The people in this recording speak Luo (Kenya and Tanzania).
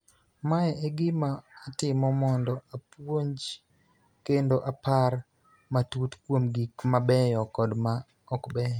Mae e gima atimo mondo apuonj kendo apar matut kuom gik mabeyo kod ma okbeyo.